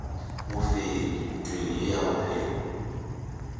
mofenyi ntweng ye ya bophelo